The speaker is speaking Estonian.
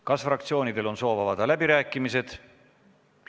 Kas fraktsioonidel on soovi avada läbirääkimisi?